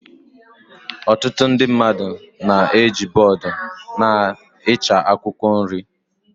Ọtụtụ ndị mmadụ na-eji bọọdụ n'ịcha akwụkwọ nri